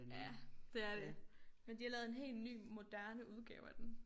Ja det er det men de har lavet en hel ny moderne udgave af den